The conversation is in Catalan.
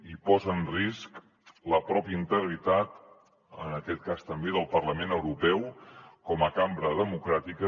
i posa en risc la pròpia integritat en aquest cas també del parlament europeu com a cambra democràtica